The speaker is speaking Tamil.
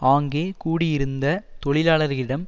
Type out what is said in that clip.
ஆங்கே கூடியிருந்த தொழிலாளர்களிடம்